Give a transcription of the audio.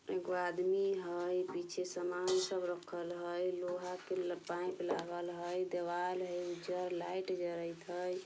ऐगो आदमी हई पीछे सामान सब राखल हई लोहा के पाइप लागल हई देवाल हई उजर लाइट जरत हई।